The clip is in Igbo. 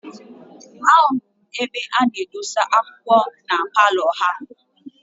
A hụrụ m ebe a na-adọsa akwụkwọ na paalọ ha.